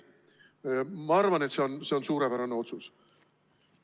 Ma arvan, et see on suurepärane otsus.